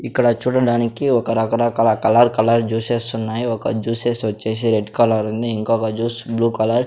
ఇక్కడ చూడడానికి ఒక రక రకాల కలర్ కలర్ జ్యూస్స్ ఉన్నాయి ఒక జ్యూసెస్ వచ్చేసి రెడ్ కలర్ ఉంది ఇంకొక జ్యూస్ బ్లూ కలర్ .